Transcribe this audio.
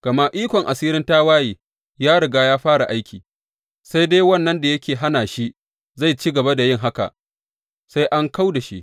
Gama ikon asirin tawaye ya riga ya fara aiki; sai dai wannan da yake hana shi zai ci gaba da yin haka sai an kau da shi.